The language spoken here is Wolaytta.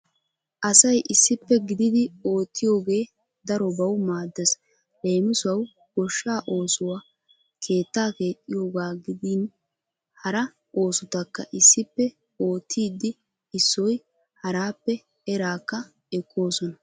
Asayi issippe gididi oottiyoge darobawu maaddes. Leemisuwawu goshshaa oosuwa; keettaa keexxiyooga gidin hara oosotakka issippe oottiiddi issoy haraappe eraakka ekkoosona.